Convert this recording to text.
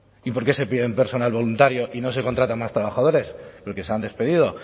y por qué se pide personal voluntario y no se contratan más trabajadores porque se han despedido